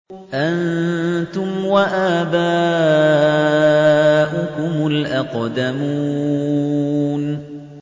أَنتُمْ وَآبَاؤُكُمُ الْأَقْدَمُونَ